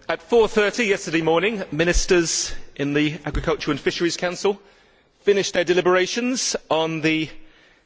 Mr President, at 4.30 yesterday morning, Ministers in the Agriculture and Fisheries Council finished their deliberations on the